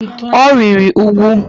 Ọ rịrị úgwù.